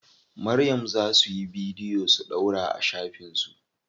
Maryam za suyi bidiyo su ɗaura a shafin su.